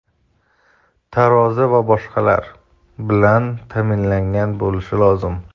tarozi va boshqalar) bilan ta’minlangan bo‘lishi lozim.